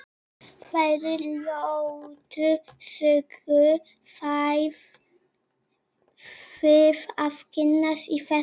Þeirri ljótu sögu fáið þið að kynnast í þessari bók.